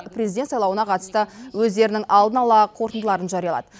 президент сайлауына қатысты өздерінің алдын ала қорытындыларын жариялады